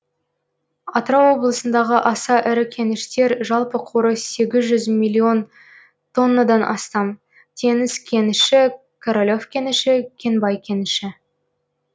атырау облысындағы аса ірі кеніштер жалпы қоры сегіз жүз миллион тоннадан астам теңіз кеніші королев кеніші кенбай кеніші